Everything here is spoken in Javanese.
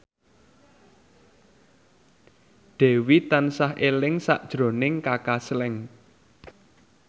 Dewi tansah eling sakjroning Kaka Slank